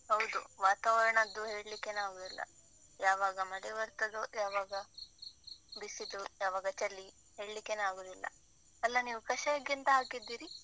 ಹೌದು, ವಾತಾವರಣದ್ದು ಹೇಳಿಕ್ಕೆನೇ ಆಗುದಿಲ್ಲ. ಯಾವಾಗ ಮಳೆ ಬರ್ತದೋ, ಯಾವಾಗ ಬಿಸಿಲು, ಯಾವಾಗ ಚಳಿ, ಹೇಳಿಕ್ಕೆನೇ ಆಗುದಿಲ್ಲ. ಅಲ್ಲ ನೀವು ಕಷಾಯಕ್ಕೆ ಎಂತ ಹಾಕಿದ್ದೀರಿ?